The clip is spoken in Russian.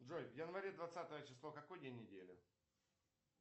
джой в январе двадцатое число какой день недели